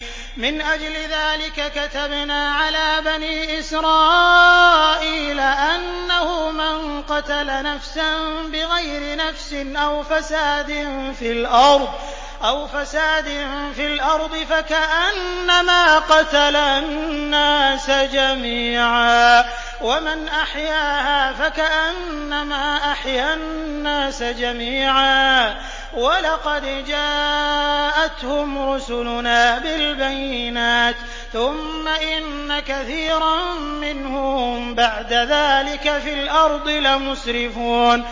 مِنْ أَجْلِ ذَٰلِكَ كَتَبْنَا عَلَىٰ بَنِي إِسْرَائِيلَ أَنَّهُ مَن قَتَلَ نَفْسًا بِغَيْرِ نَفْسٍ أَوْ فَسَادٍ فِي الْأَرْضِ فَكَأَنَّمَا قَتَلَ النَّاسَ جَمِيعًا وَمَنْ أَحْيَاهَا فَكَأَنَّمَا أَحْيَا النَّاسَ جَمِيعًا ۚ وَلَقَدْ جَاءَتْهُمْ رُسُلُنَا بِالْبَيِّنَاتِ ثُمَّ إِنَّ كَثِيرًا مِّنْهُم بَعْدَ ذَٰلِكَ فِي الْأَرْضِ لَمُسْرِفُونَ